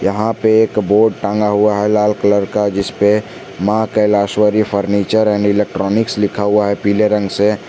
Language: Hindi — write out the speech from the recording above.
यहां पे एक बोर्ड टांगा हुआ है लाल कलर का जिस पे लिखा हुआ है Maa Kaleshwari furniture and electronics पीले रंग से।